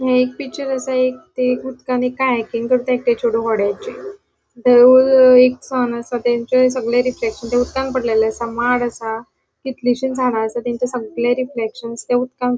हांगा एक पिक्चर असा एक तै एक उदकांत एक करता एक चेडु असा तांचे सगळे रिफ्लेक्शन उदकान्थ पडलेले असा माड असा कितलीशी जाना तांचे सगळे रिफ्लेक्शन थ्य उदकांन --